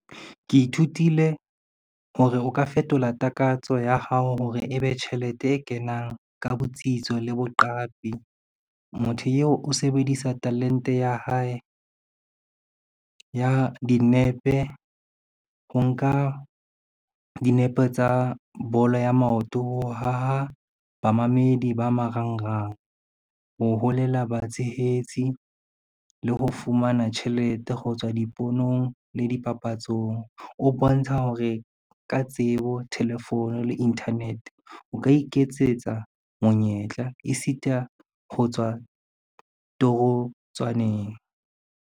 Ke ithutile hore o ka fetola takatso ya hao hore e be tjhelete e kenang ka botsitso le boqapi. Motho eo o sebedisa talente ya hae ya dinepe, ho nka dinepe tsa bolo ya maoto, ho haha bamamedi ba marangrang, ho holela batshehetsi le ho fumana tjhelete ho tswa diponong le dipapatsong. O bontsha hore ka tsebo, telephone le internet o ka iketsetsa monyetla, e sita ho tswa torotswaneng.